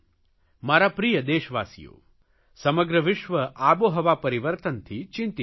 મારા પ્રિયદેશવાસીઓ સમગ્ર વિશ્વ આબોહવા પરિવર્તનથી ચિંતિત છે